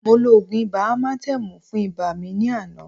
Mo lo ògùn ibà amatẹ́mù fún ibà mi ní àná